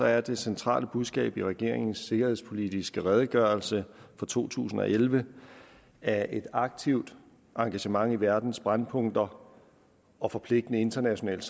er det centrale budskab i regeringens sikkerhedspolitiske redegørelse fra to tusind og elleve at et aktivt engagement i verdens brændpunkter og forpligtende internationale